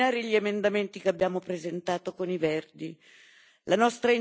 Vi prego di esaminare gli emendamenti che abbiamo presentato con i Verdi.